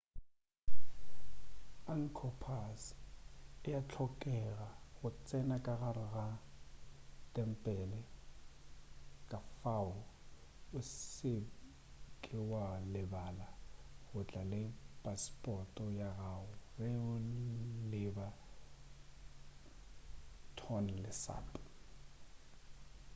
angkor pass ea hlokega go tsena ka gare ga tempele kafao o se ke wa lebala go tla le pasepoto ya gago ge o leba tonle sap